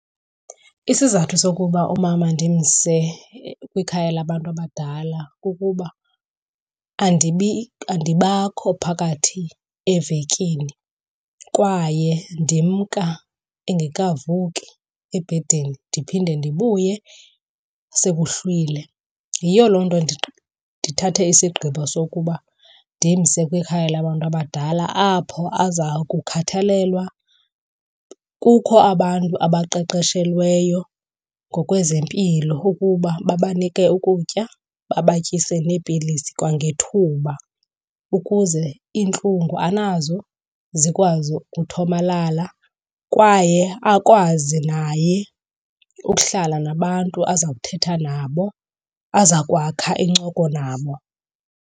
Isizathu sokuba umama ndimse kwikhaya abantu abadala kukuba andibakho phakathi evekini kwaye ndimka engekavuki ebhedini ndiphinde ndibuye sekuhlwile. Yiyo loo nto ndithathe isigqibo sokuba ndimse kwikhaya labantu abadala, apho aza kukhathalelwa. Kukho abantu abaqeqeshelweyo ngokwezempilo ukuba babanike ukutya, babatyise neepilisi kwangethuba ukuze iintlungu anazo zikwazi ukuthomalala. Kwaye akwazi naye ukuhlala nabantu aza kuthetha nabo, aza kwakha incoko nabo.